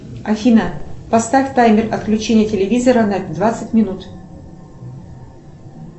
афина поставь таймер отключения телевизора на двадцать минут